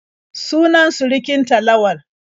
Sunan surukin ta Lawal.